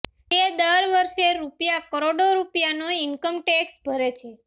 તે દર વરસે રૂપિયા કરોડો રૂપિયાનો ઇનકમ ટેકસ ભરે છે